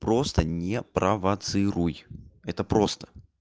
просто не провоцируй это просто